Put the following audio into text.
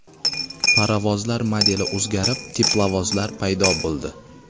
Parovozlar modeli o‘zgarib, teplovozlar paydo bo‘ldi.